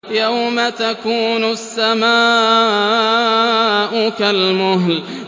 يَوْمَ تَكُونُ السَّمَاءُ كَالْمُهْلِ